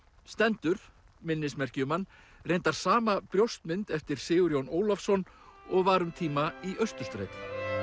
stendur minnismerki um hann reyndar sama brjóstmynd eftir Sigurjón Ólafsson og var um tíma í Austurstræti